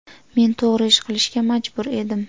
Men to‘g‘ri ish qilishga majbur edim.